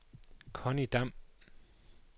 Connie Dam